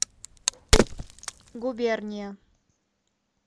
губерния